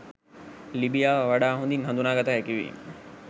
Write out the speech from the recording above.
ලිබියාව වඩා හොඳින් හඳුනාගත හැකි වීම